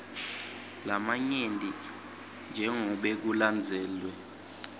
lamanyenti jengobe kulandzelwe